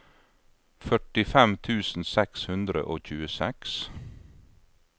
førtifem tusen seks hundre og tjueseks